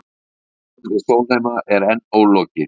Samningum við Sólheima er enn ólokið